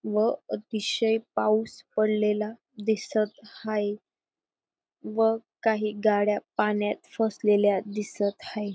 व अतिशय पाऊस पडलेला दिसत हाये व काही गाड्या पाण्यात फसलेल्या दिसत हाये.